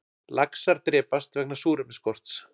Laxar drepast vegna súrefnisskorts